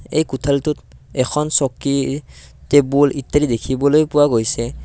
এই কোঠালীটোত এখন চকী টেবুল ইত্যাদি দেখিবলৈ পোৱা গৈছে।